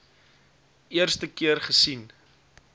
eerste keer gesien